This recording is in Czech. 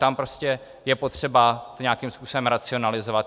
Tam prostě je potřeba to nějakým způsobem racionalizovat.